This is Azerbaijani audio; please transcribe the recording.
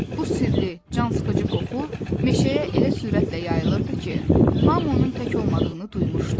Bu sirli, cansıxıcı qoxu meşəyə elə sürətlə yayılırdı ki, hamı onun tək olmadığını duymuşdu.